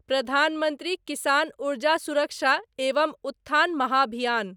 प्रधान मंत्री किसान ऊर्जा सुरक्षा एवम उत्थान महाभियान